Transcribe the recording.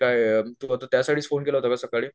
काय तू आता त्यासाठी च फोन केला होतं का सकाळी?